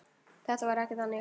Þetta var ekki þannig.